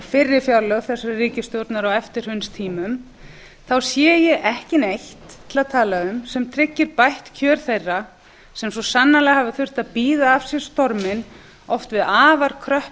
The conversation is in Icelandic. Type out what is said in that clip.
fyrri fjárlög þessarar ríkisstjórnar á eftirhrunstímum þá sé ég ekki neitt til að tala um sem tryggir bætt kjör þeirra sem svo sannarlega hafa þurft að bíða af sér storminn oft við afar kröpp